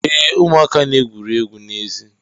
Ee, ụmụaka na-egwuri egwu n'èzí